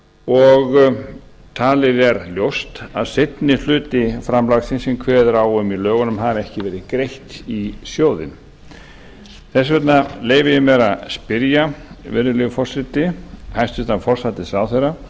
og talið er ljóst að seinni hluti framlagsins sem kveðið er á um í lögunum hafi ekki verið greitt í sjóðinn þess vegna leyfi ég mér að spyrja virðulegi forseti hæstvirtur forsætisráðherra